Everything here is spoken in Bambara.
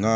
N ka